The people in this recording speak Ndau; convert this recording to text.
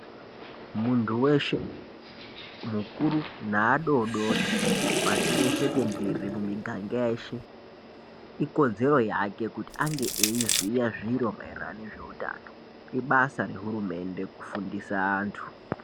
Munthu weshe anthu mukuru neadodori pashi reshe tenderere mumiganga yeshe ikodzero yake kuti ange eiziya zviro maererano nezveutano ibasa rehurumende kufundisa vanthu.